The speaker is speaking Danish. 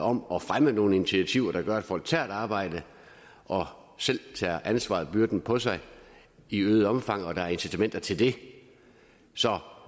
om at fremme nogle initiativer der gør at folk tager et arbejde og selv tager ansvarsbyrden på sig i øget omfang og sikrer at der er incitamenter til det så